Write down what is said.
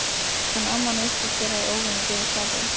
En amman virtist vera í óvenju góðu skapi.